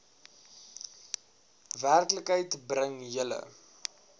werklikheid bring julle